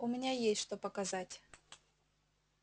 у меня есть что показать